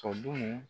Tɔ dun